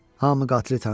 Hamı qatilə tanısın.